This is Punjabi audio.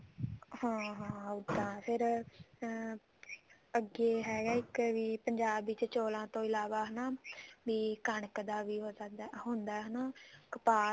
ਹਾਂ ਹਾਂ ਉੱਦਾਂ ਫ਼ੇਰ ਅਮ ਅੱਗੇ ਹੈਗਾ ਇੱਕ ਵੀ ਪੰਜਾਬ ਵਿੱਚ ਚੋਲਾਂ ਤੋਂ ਇਲਾਵਾ ਹਨਾ ਵੀ ਕਣਕ ਦਾ ਵੀ ਵੀ ਹੁੰਦਾ ਹਨਾ ਕਪਾਹ